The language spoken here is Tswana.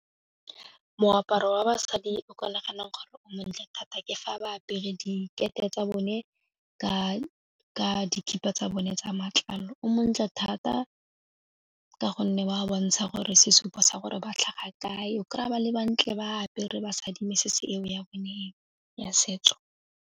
Moaparo wa basadi o ka naganang gore o montle thata ke fa ba apere dikete tsa bone ka dikhipa tsa bone tsa matlalo, o montle thata ka gonne wa bontsha gore sesupo sa gore ba tlhaga kae, o kry-a ba le bantle ba apere ba mesese eo ya bone ya setso.